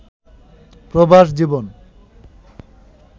প্রবাস জীবন